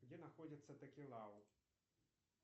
где находится такелау